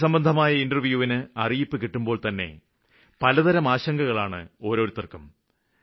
ജോലിസംബന്ധമായ ഇന്റര്വ്യൂവിന് അറിയിപ്പ് കിട്ടുമ്പോള്തന്നെ പലതരം ആശങ്കകളാണ് ഓരോരുത്തര്ക്കും